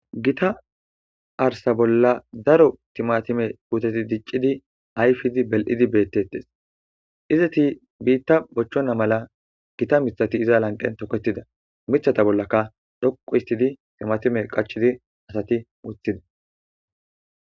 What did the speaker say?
gita arsa bolla daro timatime puteti diccidi ayfidi bel7idi bettettes izati biitta bochchona mala gita mithati iza lanqen tokettida mithata bollaka dhoqu istidi timatime qachidi asati muthida